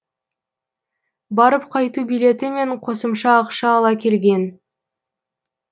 барып қайту билеті мен қосымша ақша ала келген